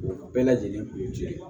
U bɛɛ lajɛlen kun ye cɛ ye